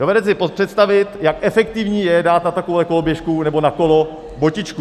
Dovedete si představit, jak efektivní je dát na takovouhle koloběžku nebo na kolo botičku.